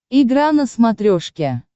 игра на смотрешке